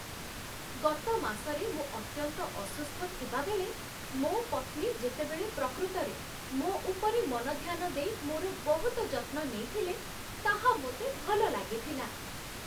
ଗତ ମାସରେ ମୁଁ ଅତ୍ୟନ୍ତ ଅସୁସ୍ଥ ଥିବାବେଳେ ମୋ ପତ୍ନୀ ଯେତେବେଳେ ପ୍ରକୃତରେ ମୋ ଉପରେ ମନଧ୍ୟାନ ଦେଇ ମୋର ବହୁତ ଯତ୍ନ ନେଇଥିଲେ, ତାହା ମୋତେ ଭଲ ଲାଗିଥିଲା